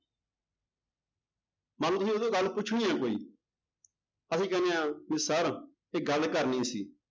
ਮੰਨ ਲਓ ਤੁਸੀਂ ਉਹ ਤੋਂ ਗੱਲ ਪੁੱਛਣੀ ਹੈ ਕੋਈ ਅਸੀਂ ਕਹਿੰਦੇ ਹਾਂ ਵੀ sir ਇੱਕ ਗੱਲ ਕਰਨੀ ਸੀ।